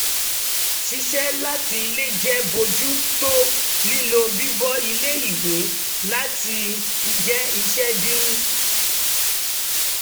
ṣiṣẹ́ láti ilé jẹ́ bójú tó lílọ bíbọ̀ ilé ìwé láì jẹ́ iṣẹ́ dín